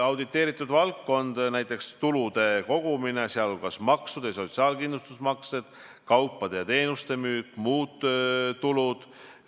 Auditeeritud valdkond: tulude kogumine, sh maksud ja sotsiaalkindlustusmaksed, kaupade ja teenuste müük, muud tulud.